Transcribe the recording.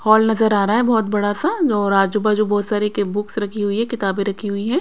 Hall नजर आ रहा है बहोत बड़ा सा और आजू बाजू बहोत सारे के बुक्स रखी हुई है किताबें रखी हुई है।